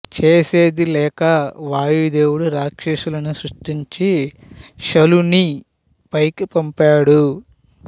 చేసేది లేక వాయదేవుడు రాక్షసులను సృష్టించి శలుని పైకి పంపాడు